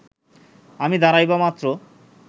আমি দাঁড়াইবামাত্র